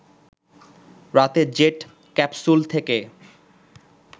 রাতে jet capsule থেকে